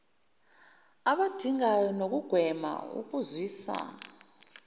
abadingayo nokugwema ukuzwisa